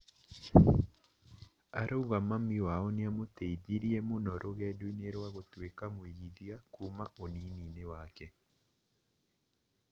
Arauga mami wao nĩamũteithirie mũno rũgendo-inĩ rwa gũtũĩka mwĩigithia kuma ũnini-inĩ wake